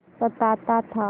सताता था